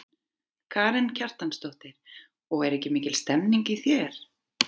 Karen Kjartansdóttir: Og er ekki mikil stemning í þér?